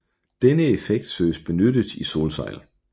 Denne effekt søges benyttet i solsejl